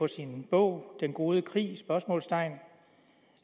sin bog den gode krig